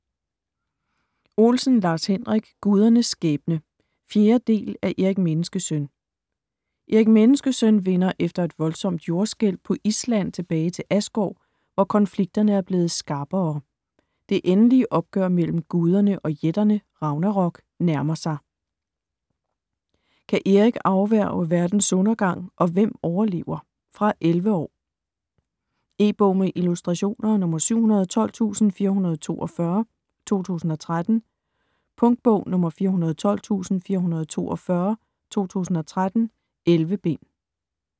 Olsen, Lars-Henrik: Gudernes skæbne 4. del af Erik Menneskesøn. Erik Menneskesøn vender efter et voldsomt jordskælv på Island tilbage til Asgård, hvor konflikterne er blevet skarpere. Det endelige opgør mellem guderne og jætterne - Ragnarok - nærmer sig. Kan Erik afværge Verdens undergang, og hvem overlever? Fra 11 år. E-bog med illustrationer 712442 2013. Punktbog 412442 2013. 11 bind.